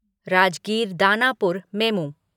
Rajgir Danapur MEMU